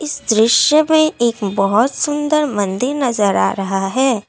इस दृश्य में एक बहुत सुंदर मन्दिर नज़र आ रहा है।